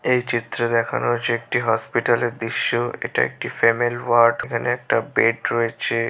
এই চিত্র দেখানো হয়েছে একটি হসপিটালের দৃশ্য। এটা একটি ফ্যামেল ওয়ার্ড । এখানে একটা বেড রয়েছে।